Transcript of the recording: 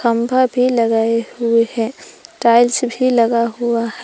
खम्भा भी लगाए हुए है टाइल्स भी लगा हुआ है।